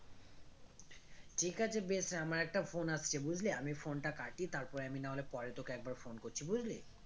ঠিক আছে বেশ আমার একটা phone আসছে বুঝলি আমি phone টা কাটি তারপরে আমি না হলে পরে তোকে একবার phone করছি বুঝলি